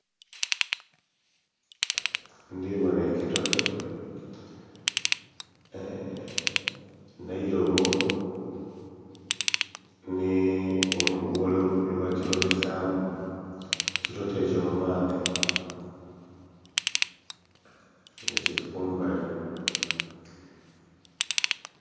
Ndhi bonha ekitote nh'eilobo nhi oluguwa lwe bakilobesaamu, ekitote ekyo mu maadhi nga kili kumbali